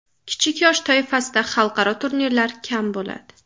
Kichik yosh toifasida xalqaro turnirlar kam bo‘ladi.